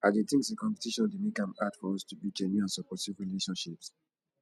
i dey think say competition dey make am hard for us to build genuine and supportive relationships